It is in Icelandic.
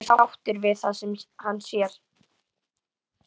Og hann er sáttur við það sem hann sér.